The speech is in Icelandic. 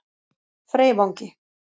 Freyvangi